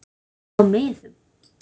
Síld á miðum.